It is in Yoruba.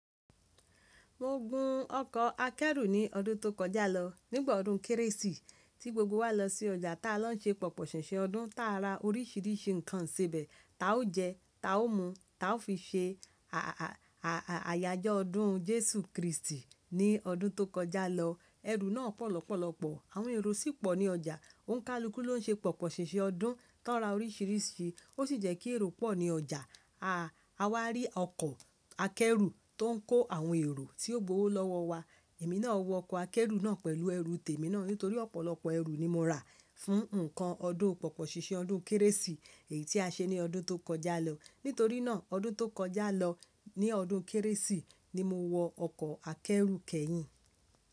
Mo gun ọkọ̀ akẹ́rù ní ọdún tó kọjá lọ nígbà ọdún kérésì tí gbogbo wa lọ sí ọjà tí a lọ ń ṣe pòpòṣèṣe ọdún táa ra oríṣiríṣi nǹkan sebẹ̀ ta ó jẹ, ta ó mu, ta ó fi ṣe àya ọdún Jésù Kristi ní ọdún tó kọjá lọ. Ẹrù náà pọ̀ lọ́pọ̀lọpọ̀, àwọn èrò sì pọ̀ ní ọjà. Òǹkálukú ló ń ṣe pòpòṣèṣe ọdún tó ń ra oríṣiríṣi, ó sì jẹ́ kí èrò pọ̀ ní ọjà. A wá rí ọkọ̀ akẹ́rù tó ń kó àwọn èrò tí ó gbowó lọ́wọ́ wa. Èmi náà wọ ọkọ̀ akẹ́rù náà pẹ̀lú ẹrù tèmi náà nítorí ọ̀pọ̀lọpọ̀ ẹrù ni mo rà fún nǹkan ọdún pòpòṣèṣe ọdún kérésì èyí tí a ṣe ní ọdún tó kọjá lọ. Nítorí náà ọdún tó kọjá lọ ní ọdún kérésì ni mo wọ ọkọ̀ akẹ́rù kẹ́yìn.